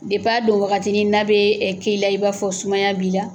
Dep'a dɔn wagatinin n'a bee k'i la i n'a fɔ sumaya b'i la